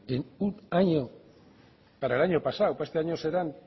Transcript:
en un año para el año pasado para este año serán